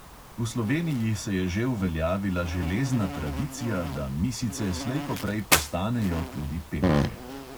V sloveniji se je že uveljavila železna tradicija, da misice slej ko prej postanejo tudi pevke.